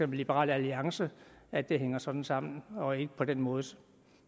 liberal alliance at det hænger sådan sammen og ikke på den måde